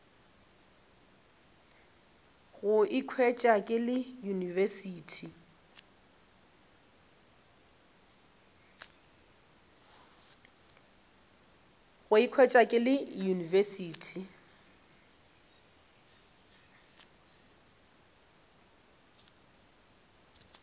go ikhwetša ke le university